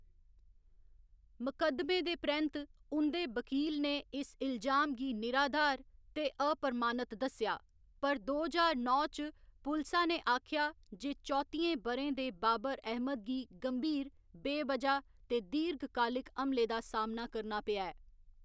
मुकदमे दे परैंत्त उं'दे वक़ील ने इल्जाम गी निराधार ते अप्रमाणत दस्सेआ, पर दो ज्हार नौ च पुलसा ने आखेआ जे चौतियें ब'रें दे बाबर अहमद गी गंभीर, बेवजह ते दीर्घकालिक हमले दा सामना करना पेआ ऐ।